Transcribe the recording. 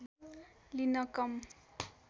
लिन कम